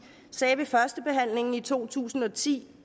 sagde ved førstebehandlingen i to tusind og ti